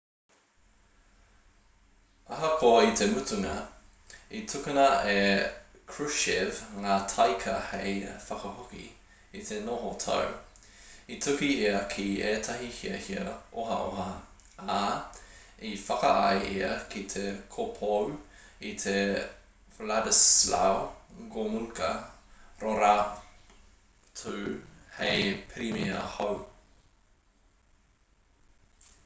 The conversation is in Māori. ahakoa i te mutunga i tukuna e krushchev ngā taika hei whakahoki i te noho tau i tuku ia ki ētahi hiahia ohaoha ā i whakaae ia ki te kopou i te wladyslaw gomulka rorotu hei pirimia hou